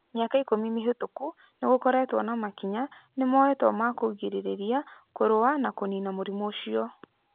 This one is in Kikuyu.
" Mĩaka ikũmi mĩhĩtũku, nĩ gũkoretwo na makinya nĩ moetwo ma kũgirĩrĩria, kũrũa na kũniina mũrimũ ũcio.